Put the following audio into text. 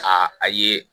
A a ye